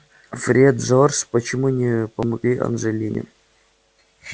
фред джордж почему не помогли анджелине